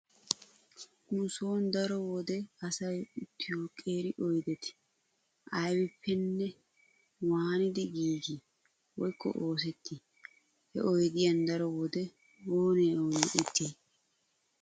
Nu sooni daro wode asay uttiyo qeeri oydeti aybippenne waanidi giigii woykko oosettii? He oydiuan daro wode oonee oonee uttiyay?